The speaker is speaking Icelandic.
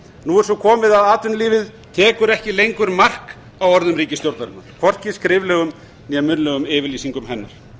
nú er svo komið að atvinnulífið tekur ekki lengur mark á orðum ríkisstjórnarinnar hvorki skriflegum né munnlegum yfirlýsingum hennar